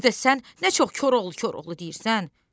Bir də sən nə çox Koroğlu Koroğlu deyirsən!